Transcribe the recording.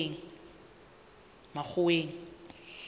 makgoweng